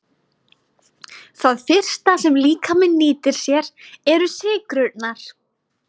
Það fyrsta sem líkaminn nýtir sér eru sykrurnar.